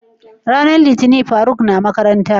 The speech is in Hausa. ran litinin faruk na makaranta?